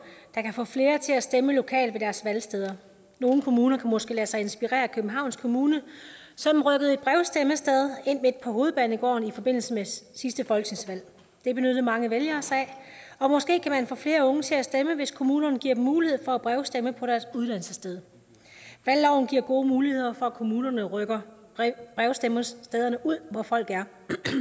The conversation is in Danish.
der kan få flere til at stemme lokalt ved deres valgsteder nogle kommuner kan måske lade sig inspirere af københavns kommune som rykkede et brevstemmested ind midt på hovedbanegården i forbindelse med sidste folketingsvalg det benyttede mange vælgere sig af måske kan man få flere unge til at stemme hvis kommunerne giver dem mulighed for at brevstemme på deres uddannelsessted valgloven giver gode muligheder for at kommunerne rykker brevstemmestederne ud hvor folk er